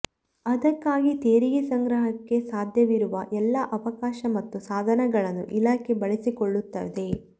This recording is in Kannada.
ಅದಕ್ಕಾಗಿ ತೆರಿಗೆ ಸಂಗ್ರಹಕ್ಕೆ ಸಾಧ್ಯವಿರುವ ಎಲ್ಲ ಅವಕಾಶ ಮತ್ತು ಸಾಧನಗಳನ್ನು ಇಲಾಖೆ ಬಳಸಿಕೊಳ್ಳುತ್ತದೆ